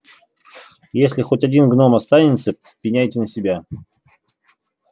и если хоть один гном останется пеняйте на себя